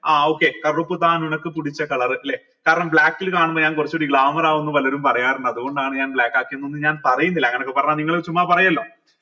ആ okay ല്ലെ കാരണം black ൽ കാണുമ്പോ ഞാൻ കുറച്ചൂടെ glamour ആവൂന്ന് പലരും പറയാറുണ്ട് അത്കൊണ്ടാണ് ഞാൻ black ആക്കിയത് എന്നൊന്നും ഞാൻ പറീന്നില്ല അങ്ങനെയൊക്കെ പറഞ്ഞാൽ നിങ്ങൾ ചുമ്മാ പറയല്ലോ